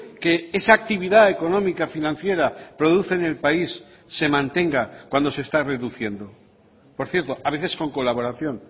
que esa actividad económica financiera produce en el país se mantenga cuando se está reduciendo por cierto a veces con colaboración